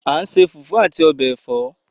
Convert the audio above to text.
A n se fufu ati obe èfọ́